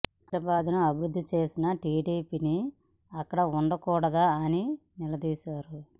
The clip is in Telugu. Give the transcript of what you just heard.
హైదరాబాద్ ను అభివృద్ధి చేసిన టీడీపీ అక్కడ ఉండకూడదా అని నిలదీశారు